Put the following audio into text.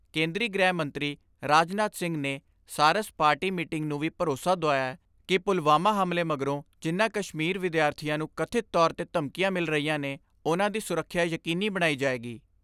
ਕੇਂਦਰੀ ਗ੍ਰਹਿ ਮੰਤਰੀ ਰਾਜ ਨਾਥ ਸਿੰਘ ਨੇ ਸਾਰਸ ਪਾਰਟੀ ਮੀਟਿੰਗ ਨੂੰ ਵੀ ਭਰੋਸਾ ਦੁਆਇਐ ਕਿ ਮੁਲਵਾਮਾ ਹਮਲੇ ਮਗਰੋਂ ਜਿਨ੍ਹਾਂ ਕਸ਼ਮੀਰ ਵਿਦਿਆਰਥੀਆਂ ਨੂੰ ਕਥਿਤ ਤੌਰ ਤੇ ਧਮਕੀਆਂ ਮਿਲ ਰਹੀਆਂ ਨੇ ਉਨ੍ਹਾਂ ਦੀ ਸੁਰੱਖਿਆ ਯਕੀਨੀ ਬਣਾਈ ਜਾਏਗੀ।